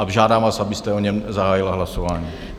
Žádám vás, abyste o něm zahájila hlasování.